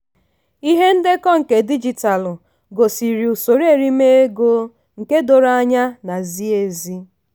ihe ndekọ nke digitalu gosiri usoro erime ego nke doro anya na zie ezi.